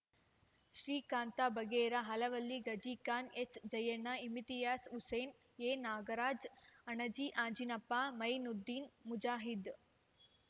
Srikanth ಬಗೇರ Allavali Ghazikhan ಎಚ್‌ಜಯಣ್ಣ Imtiaz Hussain N Nagaraj Anaji Anjinappa Mainuddin Mujahid